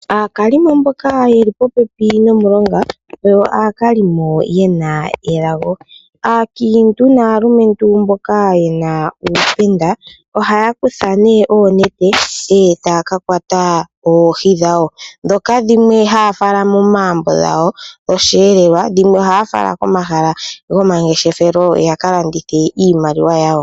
Aakalimo mboka yeli popepi nomulonga oyo aakalimo yena elago. aakiintu naalumentu mboka yena uupenda ohaya kutha nee oonete ndee taa kakwata oohi dhawo, dhoka dhimwe haa fala momaambo gawo osheelelwa dhimwe ohaa fala komahala go mangeshefelo ya kalandithi iimaliwa yawo.